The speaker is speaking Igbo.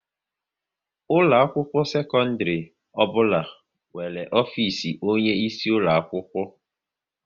Ụlọ akwụkwọ sekondiri ọbụla nwere ofisi onye isi ulo akwụkwọ